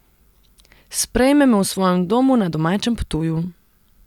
Sprejme me v svojem domu na domačem Ptuju.